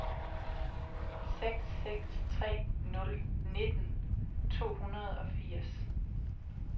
seks seks tre nul nitten to hundrede og firs